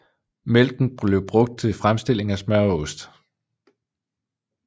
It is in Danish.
Mælken blev brugt til fremstilling af smør og ost